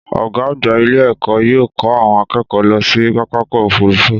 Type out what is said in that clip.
Ọgá àgbà ilé ẹkọ yóò ko àwọn akẹ́kọ̀ọ́ lọ sí pápákọ̀ òfúrufú.